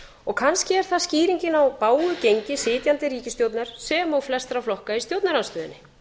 og kannski er það skýringin á bágu gengi sitjandi ríkisstjórnar sem og flestra flokka í stjórnarandstöðunni